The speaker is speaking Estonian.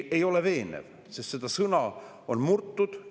Ei ole veenev, sest seda sõna on murtud.